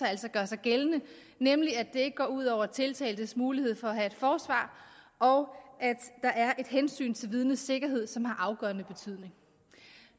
altså gør sig gældende nemlig at det ikke går ud over tiltaltes mulighed for at have et forsvar og at der er et hensyn til vidnets sikkerhed som har afgørende betydning